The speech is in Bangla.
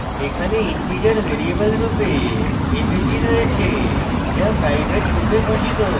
এখানে integer ভ্যারিয়েবল রূপে avg রয়েছে যা private রূপে ঘোষিত